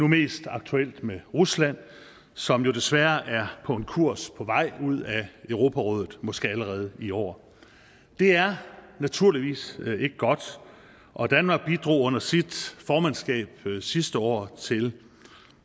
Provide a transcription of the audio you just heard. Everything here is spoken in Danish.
mest aktuelt med rusland som jo desværre er på en kurs på vej ud af europarådet måske allerede i år det er naturligvis ikke godt og danmark bidrog under sit formandskab sidste år til